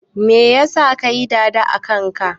Me yasa ka yi"dada" akan ka?